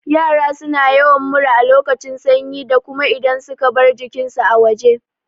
Yara suna yawan mura a lokacin sanyi da kuma idan suka bar jikin su a waje